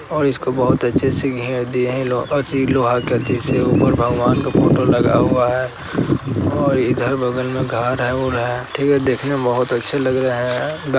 और इसको बहुत अच्छे से घेर दिए हैं लोह अथि लोहा के ऐथि से | ऊपर भगवान का फोटो लगा हुआ है और इधर बगल में घर है - वुर है ठीक है देखने में बहुत अच्छे लग रहे हैं। ग --